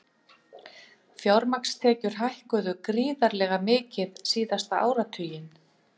Fjármagnstekjur hækkuðu gríðarlega mikið síðasta áratuginn